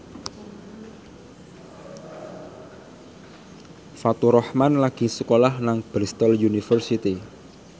Faturrahman lagi sekolah nang Bristol university